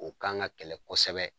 O kan ka kɛlɛ kɔsɛbɛ.